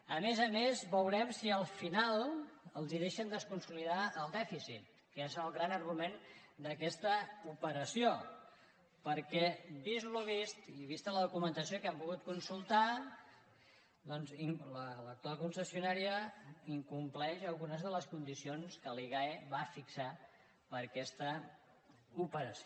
a més a més veurem si al final els deixen desconsolidar el dèficit que és el gran argument d’aquesta operació perquè vist el vist i vista la documentació que hem pogut consultar doncs l’actual concessionària incompleix algunes de les condicions que la igae va fixar per a aquesta operació